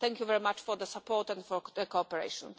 Thank you very much for the support and the cooperation.